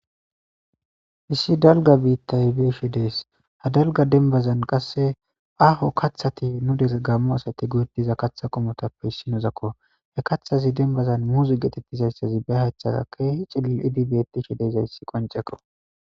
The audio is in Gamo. issi dalga biittay beeshe dees ha dalga denbazan qasse aaho kathati nu des gammu asati goediza katha qomotappe issi nuzakko he kathazi denbazan muuzi geetettizayssazi be haythada keehi cilil idibetishi deyzayssi qoncekko